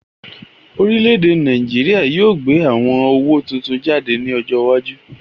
Orílè-èdè Nàìjíríà yóò gbé àwon owó tuntun jáde ní ọjọ iwájú